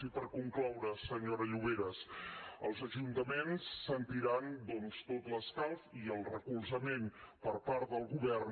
i per concloure senyora lloveras els ajuntaments sentiran doncs tot l’escalf i el recolzament per part del govern